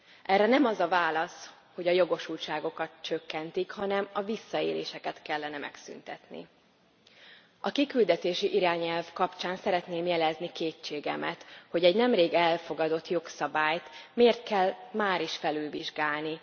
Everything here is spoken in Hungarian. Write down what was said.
Erre nem az a válasz, hogy a jogosultságokat csökkentik, hanem a visszaéléseket kellene megszüntetni. A kiküldetési irányelv kapcsán szeretném jelezni kétségemet, hogy egy nemrég elfogadott jogszabályt miért kell máris felülvizsgálni?